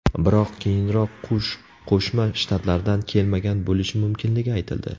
Biroq keyinroq qush Qo‘shma Shtatlardan kelmagan bo‘lishi mumkinligi aytildi.